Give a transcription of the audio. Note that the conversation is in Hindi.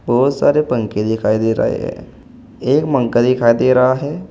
बहुत सारे पंखे दिखाई दे रहे हैं एक मग्गा दिखाई दे रहा हैं।